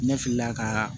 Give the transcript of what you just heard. Ne filila ka